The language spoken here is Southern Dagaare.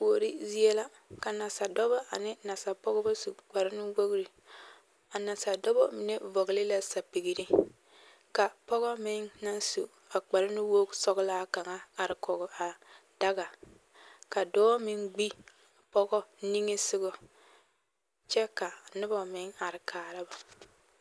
Kuori zie la ka nasaldɔba ane nasalpɔgeba su kparenuwogri a nasaldɔba mine vɔgle la sapigri ka pɔge meŋ naŋ su a kparenuwogri sɔglaa kaŋa are kɔge a daga ka dɔɔ meŋ gbi pɔge niŋe sogɔ kyɛ ka noba meŋ are kaara ba.